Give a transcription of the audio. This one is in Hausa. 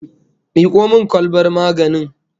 Miko min kwalbar maganin